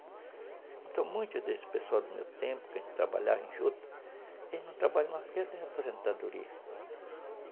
Então, muitos desses pessoas do meu tempo, que a gente trabalhava junto, eles não trabalhavam mais porque eles tinham aposentadoria.